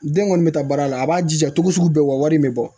Den kɔni bɛ taa baara la a b'a jija cogo sugu bɛɛ wa wari in bɛ bɔ